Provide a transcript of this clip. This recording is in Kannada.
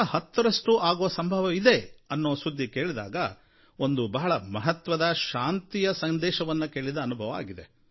110ರಷ್ಟು ಆಗೋ ಸಂಭವ ಇದೆ ಅನ್ನೋ ಸುದ್ದಿ ಕೇಳಿದಾಗ ಒಂದು ಬಹಳ ಮಹತ್ವದ ಶಾಂತಿಯ ಸಂದೇಶವನ್ನು ಕೇಳಿದ ಅನುಭವ ಆಗಿದೆ